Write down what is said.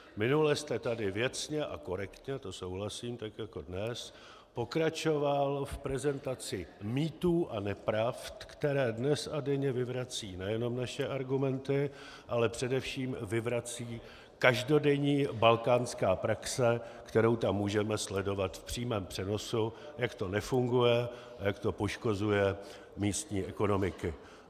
Minule jste tady věcně a korektně, to souhlasím, tak jako dnes pokračoval v prezentaci mýtů a nepravd, které dnes a denně vyvracejí nejenom naše argumenty, ale především vyvrací každodenní balkánská praxe, kterou tam můžeme sledovat v přímém přenosu, jak to nefunguje a jak to poškozuje místní ekonomiky.